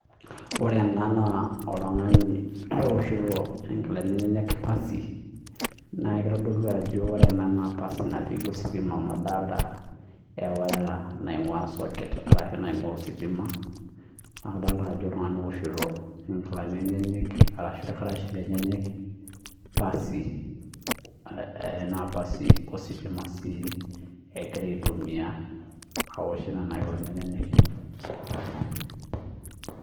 Ore ena naa oltungani ooshito nkilani enyanak pasa ositima amuu keeta ewoya naajo socket imgua neeku otungani ooshito nkilani enyanak pasi ositima